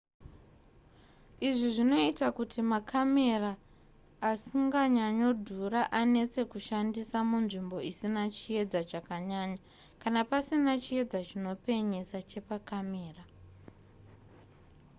izvi zvinoita kuti makamera asinganyanyodhura anetse kushandisa munzvimbo isina chiedza chakanyanya kana pasina chiedza chinopenyesa chepakamera